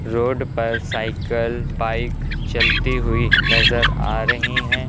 Road पर cycle bike चलती हुई नजर आ रही हैं।